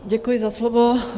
Děkuji za slovo.